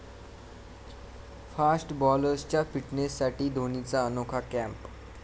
fast बॉलर्सच्या फिटनेससाठी धोणीचा अनोखा कॅम्प